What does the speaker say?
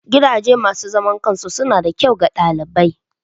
Gidajen masu zaman kansu suna da kyau ga ɗalibai.